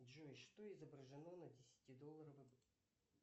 джой что изображено на десятидолларовой